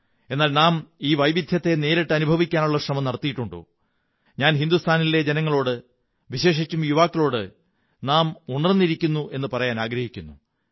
എന്നാൽ നാം ഈ വൈവിധ്യത്തെ നേരിട്ടനുഭവിക്കാനുള്ള ശ്രമം നടത്തിയിട്ടുണ്ടോ ഞാൻ രാജ്യത്തെ ജനങ്ങളോട് വിശേഷിച്ചും യുവാക്കളോട് നാം ഉണര്ന്നി രിക്കുന്നു എന്നു പറയാനാഗ്രഹിക്കുന്നു